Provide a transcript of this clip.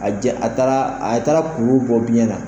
A a taara a taara kulu bɔ biɲɛ na